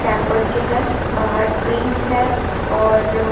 temple के है बाहर ट्रीज है और --